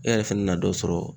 E yɛrɛ fɛnɛ na dɔ sɔrɔ